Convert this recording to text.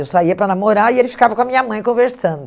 Eu saía para namorar e ele ficava com a minha mãe conversando.